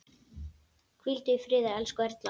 Hvíldu í friði, elsku Erla.